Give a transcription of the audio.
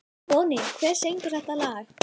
Voney, hver syngur þetta lag?